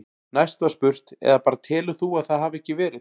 Næst var spurt: Eða bara telur þú að það hafi ekki verið?